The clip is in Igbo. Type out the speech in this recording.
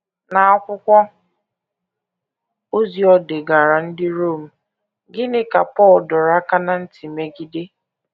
N’akwụkwọ ozi o degaara ndị Rom, gịnị ka Pọl dọrọ aka ná ntị megide?